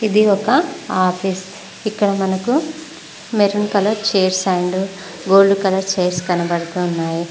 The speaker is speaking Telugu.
ఇది ఒక ఆఫీస్ ఇక్కడ మనకు maroon colour chairs and gold colour chairs కనబడుతున్నాయి.